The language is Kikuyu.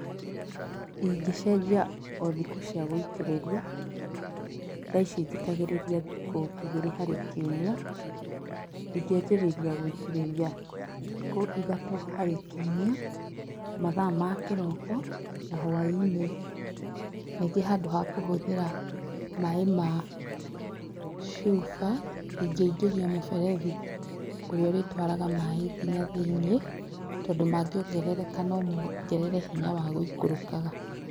Ingĩcenjia o thikũ cia gũitĩrĩria. Thaa ici njitagĩrĩria thikũ igĩrĩ harĩ kiumia, ingĩanjĩrĩria gũitĩrĩria thikũ ithatũ harĩ kiumia, mathaa ma kĩroko na hwaĩ-inĩ. Ningĩ handũ ha kũhũthĩra maaĩ ma cuba, ingĩ ingĩria mũberethi ũrĩa ũrĩ twaraga maaĩ nginya thĩiniĩ tondu mangĩongerereka, no mongerere hinya wa gũikũrũkaga.